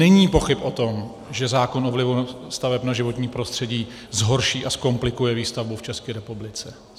Není pochyb o tom, že zákon o vlivu staveb na životní prostředí zhorší a zkomplikuje výstavbu v České republice.